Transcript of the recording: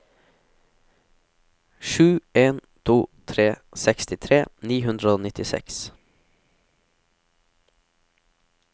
sju en to tre sekstitre ni hundre og nittiseks